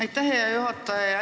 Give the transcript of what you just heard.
Aitäh, hea juhataja!